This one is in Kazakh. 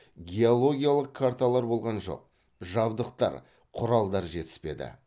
геологиялық карталар болған жоқ жабдықтар құралдар жетіспеді